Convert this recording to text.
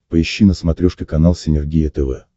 поищи на смотрешке канал синергия тв